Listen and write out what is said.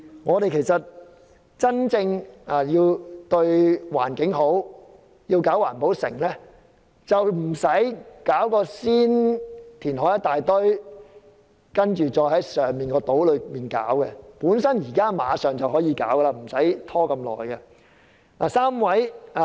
我們要真正對環境好，並不是事先大量填海，再在島上興建環保城，而是馬上可以興建環保城，不用拖這麼久。